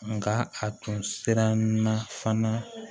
Nka a tun siran na fana